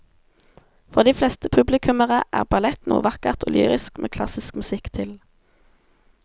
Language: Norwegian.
For de fleste publikummere er ballett noe vakkert og lyrisk med klassisk musikk til.